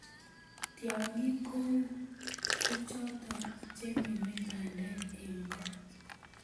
tiangik koun. ko choto chengeme bandek eng koo